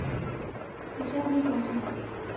Ég svaf lítið þessa nótt.